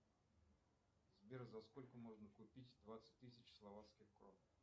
сбер за сколько можно купить двадцать тысяч словацких крон